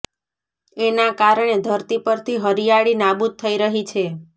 એના કારણે ધરતી પરથી હરિયાળી નાબૂદ થઈ રહી છે